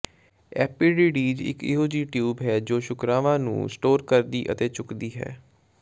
ਐਪੀਡਿੀਡੀਜ਼ ਇਕ ਅਜਿਹੀ ਟਿਊਬ ਹੈ ਜੋ ਸ਼ੁਕਰਵਾਂ ਨੂੰ ਸਟੋਰ ਕਰਦੀ ਅਤੇ ਚੁੱਕਦੀ ਹੈ